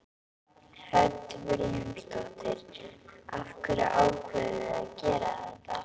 Hödd Vilhjálmsdóttir: Af hverju ákváðuð þið að gera þetta?